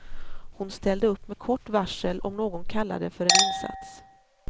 Hon ställde upp med kort varsel om någon kallade för en insats.